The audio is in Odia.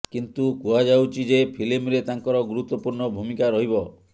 କିନ୍ତୁ କୁହାଯାଉଛି ଯେ ଫିଲ୍ମରେ ତାଙ୍କର ଗୁରୁତ୍ୱପୂର୍ଣ୍ଣ ଭୂମିକା ରହିବ